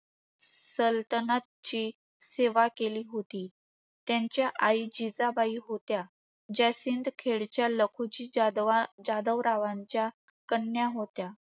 सलतनतची सेवा केली होती. त्यांच्या आई जिजाबाई होत्या. ज्या सिंदखेडच्या लखुजी जाधव रावांच्या कन्या होत्या.